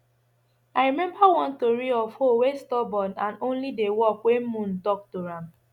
i remember one tori of hoe wey stubborn and only dey work when moon talk to am